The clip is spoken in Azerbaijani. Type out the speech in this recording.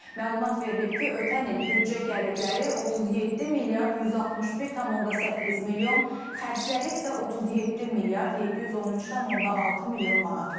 Məlumat verilib ki, ötən il büdcə gəlirləri 37 milyard 161,8 milyon, xərcləri isə 37 milyard 713,6 milyon manat olub.